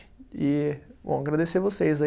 E, bom, agradecer vocês aí.